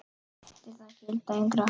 Eftir það gilda engar hömlur.